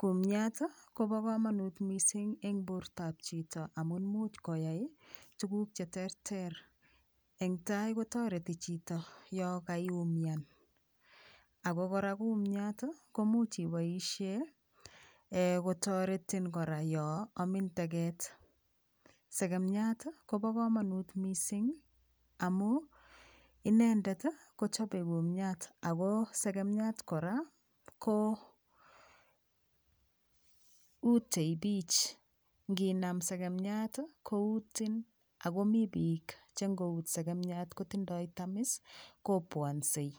kumyat Kobo komonut mising eng borto ab chito amun much koyai tuguk cheterter eng tai kotoreti chito yo kaiumian Ako kora kumyat komuch iboishee kotoretin kora yo Amin teget segemiat Kobo komonut mising amun inendet kochobei kumyat ako segemiat kora koutei piich nginam segemiat koutin akomiipiik che ngout segemiat kondindoi tamis kobwonsei